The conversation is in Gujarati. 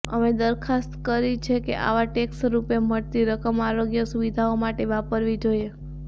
અમે દરખાસ્ત કરી છે કે આવા ટેક્સરૂપે મળતી રકમ આરોગ્ય સુવિધાઓ માટે વાપરવી જોઈએ